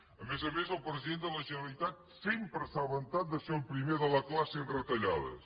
a més a més el president de la generalitat sempre s’ha vantat de ser el primer de la classe en retallades